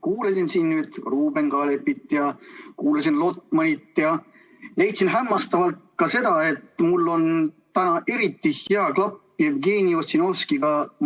Kuulasin siin Ruuben Kaalepit ja kuulasin Lotmanit ja leidsin hämmastavalt ka seda, et mul on täna eriti hea klapp Jevgeni Ossinovskiga.